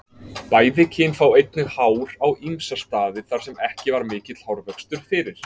Bæði kyn fá einnig hár á ýmsa staði þar sem ekki var mikill hárvöxtur fyrir.